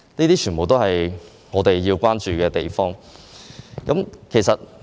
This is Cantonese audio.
這些全部都是我們需要關注的地方。